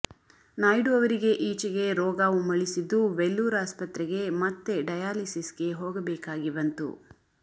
ನಾಯ್ಡು ಅವರಿಗೆ ಈಚೆಗೆ ರೋಗ ಉಮ್ಮಳಿಸಿದ್ದು ವೆಲ್ಲೂರ್ ಆಸ್ಪತ್ರೆಗೆ ಮತ್ತೆ ಡಯಾಲಿಸಿಸ್ ಗೆ ಹೋಗಬೇಕಾಗಿಬಂತು